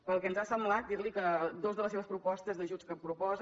pel que ens ha semblat dirli que dues de les seves propostes d’ajuts que proposa